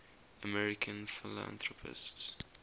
american philanthropists